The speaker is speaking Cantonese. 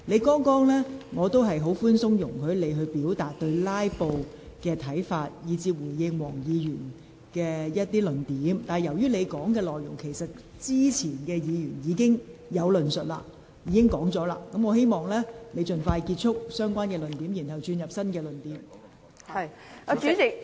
剛才我比較寬鬆，容許你表達對"拉布"的看法及回應黃國健議員的論點，但由於你的論點之前已有議員論述，請你盡快結束相關論點及提出新論點。